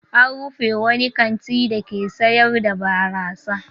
An rufe wani kanti dake sayar da barasa.